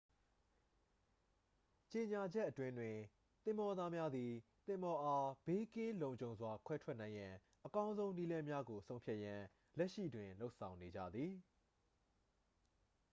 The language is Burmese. ကြေညာချက်အတွင်းတွင် သင်္ဘောသားများသည် သင်္ဘောအား ဘေးကင်းလုံခြုံစွာ ခွဲထုတ်နိုင်ရန် အကောင်းဆုံးနည်းလမ်းကို ဆုံးဖြတ်ရန် လက်ရှိတွင် လုပ်ဆောင်နေကြသည်